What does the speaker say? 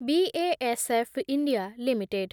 BSF India limited